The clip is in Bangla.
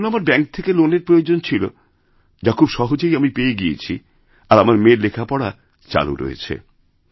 যার জন্য আমার ব্যাঙ্ক থেকে লোনের প্রয়োজন ছিল যা খুব সহজেইআমি পেয়ে গিয়েছি আর আমার মেয়ের লেখাপড়া চালু রয়েছে